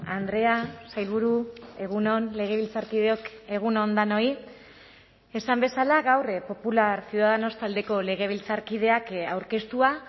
andrea sailburu egun on legebiltzarkideok egun on denoi esan bezala gaur popular ciudadanos taldeko legebiltzarkideak aurkeztua